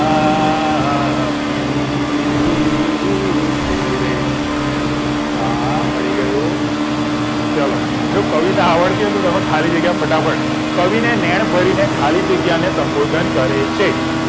પ્રીત ર આ મળી ગયું ચલો જો કવિતા આવડતી હોય તો તો તમે ખાલી જગ્યા ફટાફટ કવિને નેણ ભરીને ખાલી જગ્યાને સબોધન કરે છે